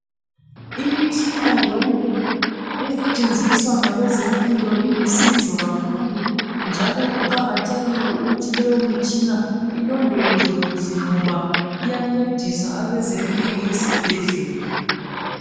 Imitshina yonke esetshenziswa ngabezempilo ilusizo kakhulu, njalo kuqakathekile ukuthi leyo mitshina ilondolozwe kuhle ngoba iyancedisa abezempilo esibhedlela.